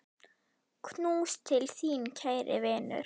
Knús til þín, kæri vinur.